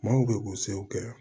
Maaw bɛ ko sew kɛ